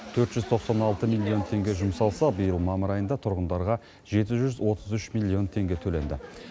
төрт жүз тоқсан алты миллион теңге жұмсалса биыл мамыр айында тұрғындарға жеті жүз отыз үш миллион теңге төленді